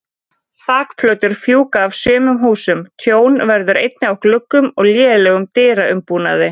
Þakplötur fjúka af sumum húsum, tjón verður einnig á gluggum og lélegum dyraumbúnaði.